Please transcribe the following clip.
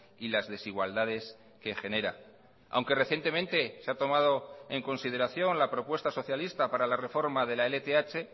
y las desigualdades que genera aunque recientemente se ha tomado en consideración la propuesta socialista para la reforma de la lth